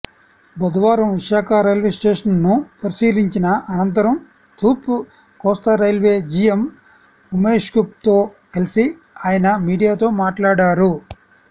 బుధవారం విశాఖ రైల్వేస్టేషన్ను పరిశీలించిన అనంతరం తూర్పు కోస్తారైల్వే జీఎం ఉమేష్సింగ్తో కలిసి ఆయన మీడియాతో మాట్లాడారు